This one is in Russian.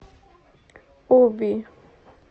оби